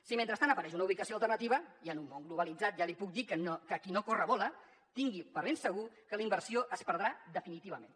si mentrestant apareix una ubicació alternativa i en un mon globalitzat ja li puc dir que qui no corre vola tingui per ben segur que la inversió es perdrà definitivament